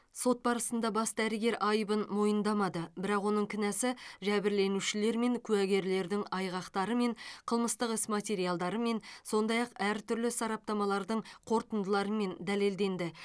сот барысында бас дәрігер айыбын мойындамады бірақ оның кінәсі жәбірленушілер мен куәгерлердің айғақтарымен қылмыстық іс материалдарымен сондай ақ әртүрлі сараптамалардың қорытындыларымен дәлелденді